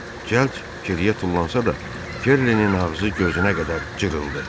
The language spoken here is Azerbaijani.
Cəld geriyə tullansa da, Kerlinin ağzı gözünə qədər cırıldı.